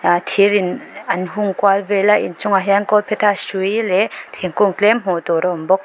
ah thir in an hung kual vel a in chungah hian kawlphetha hrui leh thingkung tlem hmuh tur a awm bawk.